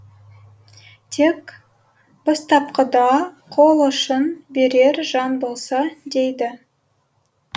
тек бастапқыда қол ұшын берер жан болса дейді